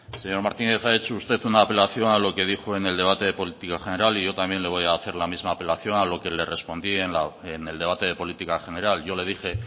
señor martínez ha hecho usted una apelación a lo que dijo en el debate de política general y yo también le voy a hacer la misma apelación a lo que le respondí en el debate de política general yo le dije